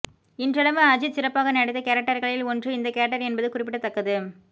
இன்றளவும் அஜித் சிறப்பாக நடித்த கேரக்டர்களில் ஒன்று இந்த கேரக்டர் என்பது குறிப்பிடத்தக்கது